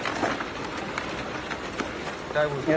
काय बोलतो?